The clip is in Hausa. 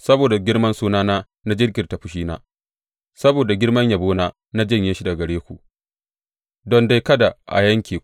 Saboda girman sunana na jinkirta fushina; saboda girman yabona na janye shi daga gare ku, don dai kada a yanke ku.